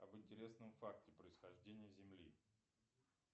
об интересном факте происхождения земли